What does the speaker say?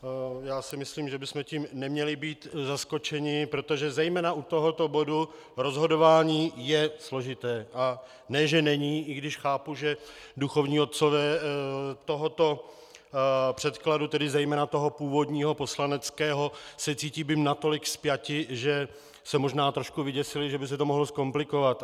Já si myslím, že bychom tím neměli být zaskočeni, protože zejména u tohoto bodu rozhodování je složité a ne že není, i když chápu, že duchovní otcové tohoto předkladu, tedy zejména toho původního poslaneckého, se cítí být natolik spjati, že se možná trošku vyděsili, že by se to mohlo zkomplikovat.